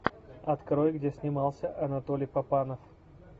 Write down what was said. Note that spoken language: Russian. открой где снимался анатолий папанов